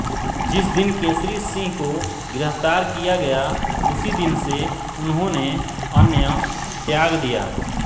जिस दिन केसरी सिंह को गिरफ्तार किया गया उसी दिन से उन्होंने अन्नत्याग दिया